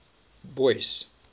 boyce